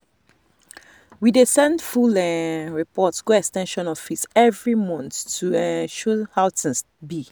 we dey send full um report go ex ten sion office every month to um show how things be.